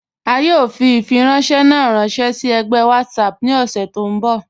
A yọ̀ fi ifiranṣẹ̀ na ranṣẹ si ẹ̀gbẹ WhatsApp ni ọṣẹ tó nbọ̀.